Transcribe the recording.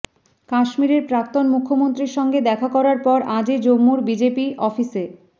কাশ্মীরের প্রাক্তন মুখ্যমন্ত্রীর সঙ্গে দেখা করার পর আজই জম্মুর বিজেপি অফিসে